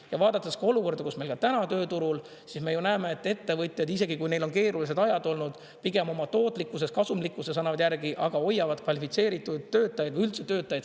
Ja vaadates ka olukorda, mis meil täna tööturul on, me ju näeme, et ettevõtjad, isegi kui neil on keerulised ajad olnud, pigem oma tootlikkuses, kasumlikkuses annavad järgi, aga hoiavad kvalifitseeritud töötajaid või üldse töötajaid.